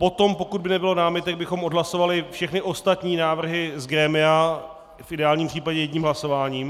Potom, pokud by nebylo námitek, bychom odhlasovali všechny ostatní návrhy z grémia - v ideálním případě jedním hlasováním.